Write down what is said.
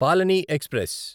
పాలని ఎక్స్ప్రెస్